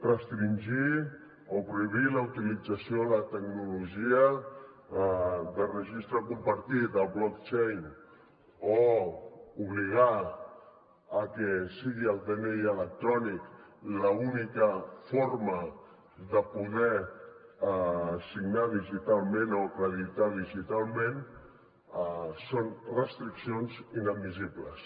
restringir o prohibir la utilització de la tecnologia de registre compartit el blockchain o obligar que sigui el dni electrònic l’única forma de poder signar digitalment o acreditar digitalment són restriccions inadmissibles